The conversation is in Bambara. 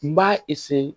N b'a